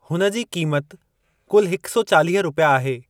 हुन जी क़ीमत कुल हिक सौ चालीह रुपया आहे।